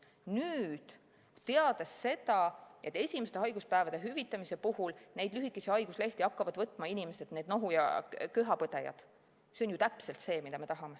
Nüüd, teades seda, et esimeste haiguspäevade hüvitamise puhul hakkavad lühikesi haiguslehti võtma need nohu ja köha põdejaid, siis see on ju täpselt see, mida me tahame.